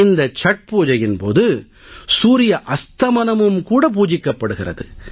இந்த சத்பூஜையின் போது சூரிய அஸ்தமனம் பூஜிக்கப்படுகிறது